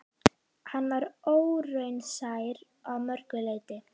Hann var óraunsær að mörgu leyti.